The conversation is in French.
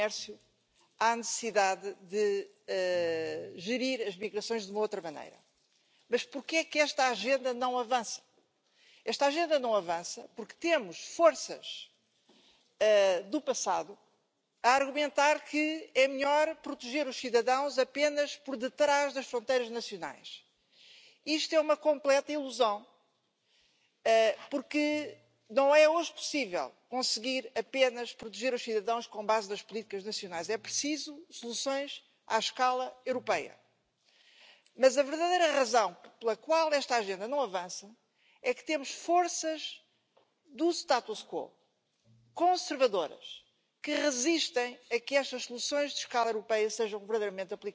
Madame la Présidente, Monsieur Juncker, je ne veux pas être injuste avec vous, beaucoup se félicitent de votre action. Les riches vous remercient, car votre Commission de la dernière chance aura été une chance pour les évadés fiscaux elle aura été une chance pour les lobbies, pour Bayer-Monsanto, qui pourra continuer pendant des années encore à empoisonner les gens elle aura été une chance pour les vautours qui ont fait main basse sur la Grèce et, partout dans l'Union européenne, pour toutes celles et tous ceux qui font aujourd'hui main basse sur les biens communs. Je crois que le président Macron peut aussi vous remercier pour vos encouragements